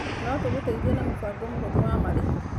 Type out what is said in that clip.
No tũgũteithie na mũbango mũhũthũ wa marĩhi.